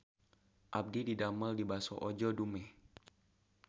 Abdi didamel di Baso Ojo Dumeh